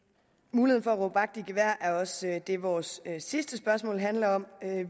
muligheden for at råbe vagt i gevær er også det vores sidste spørgsmål handler om